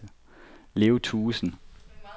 Leo Thuesen